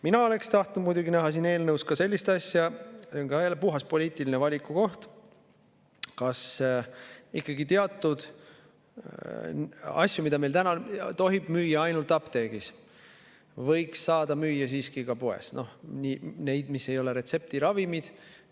Mina oleks tahtnud muidugi näha siin eelnõus ka sellist asja – see on jälle puhtalt poliitilise valiku koht –, kas ikkagi teatud asju, mida meil tohib müüa ainult apteegis, võiks müüa siiski ka poes, neid, mis ei ole retseptiravimid.